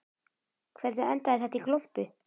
Hvernig endaði þetta í glompu?